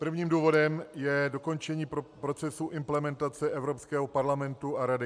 Prvním důvodem je dokončení procesu implementace Evropského parlamentu a Rady.